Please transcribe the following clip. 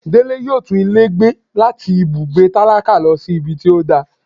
Dele yóò tún ilé gbé latí ibùgbé tálákà lọ sí ibí tí o dà